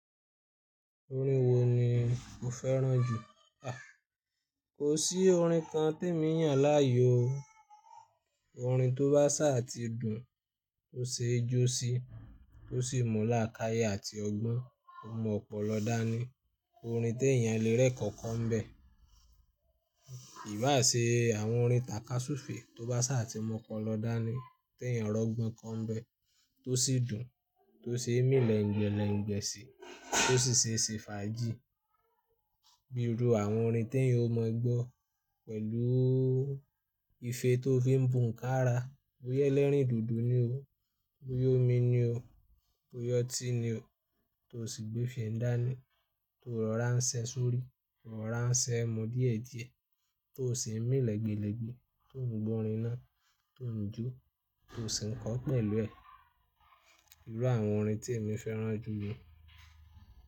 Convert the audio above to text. Orin wo ni o fẹ́ràn jù? A! Kò sí orin kan tí èmi yàn láàyò o. Orin tó bá ṣà ti dùn, tó ṣe jó sí, tó sì mu làákàyi àti ọgbọ́n, ó mu ọ̀pọ̀lọpọ̀ dání. Orin tí èèyàn lè rẹ́kọ̀ọ́kọ̀ọ́ nbẹ̀. Kì í bá ṣe àwọn orin takasufe tó bá ṣà tí mu opolọ dání, tí èèyàn rọ́ gbọ́n ko nbẹ̀, tó sì dùn, tó ṣe mí lèǹgbẹ́lẹ̀ǹgbẹ́ sì, tó sì ṣe ṣe fà jí. Bí i ru àwọn orin tí èèyàn ó mọ gbọ́ pẹ̀lú ìfẹ́ tó fi ń bu nká ara, bóyá elẹ́rìn-dòdò ni o. Bóyá omi ni o. Bóyá ọ́tí ni o. To sì gbé fèé ń dání, to ò rọ̀rá ń ṣẹ́ sórí, rọ̀rá ń ṣẹ́ mu díẹ̀díẹ̀, tó sì ń mí lègbèlegbè, tó ń gbọ́ orin náà, tó ń jó, tó sì ń kọ ọ́ pẹ̀lú ẹ̀. Irú àwọn orin tí èmi fẹ́ràn jù nu.